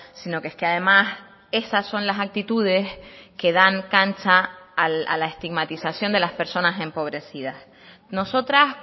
si no que es que además esas son las actitudes que dan cancha a la estigmatización de las personas empobrecidas nosotras